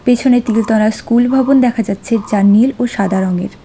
পিছনে তিলতলা স্কুল ভবন দেখা যাচ্ছে যা নীল ও সাদা রঙের।